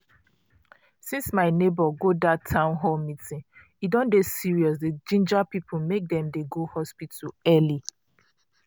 since my neighbor go dat town hall meeting e don dey serious dey ginger people make dem dey go hospital early.